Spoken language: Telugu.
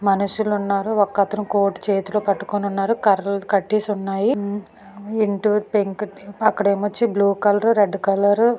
మనుషులు ఉన్నారు. ఒకతను కోటు చేతిలో పట్టుకొని ఉన్నారు. కర్రలు కట్టేసి ఉన్నాయి. ఇంటు పెంకిటి అక్కడ బ్లూ కలర్ రెడ్ కలర్ --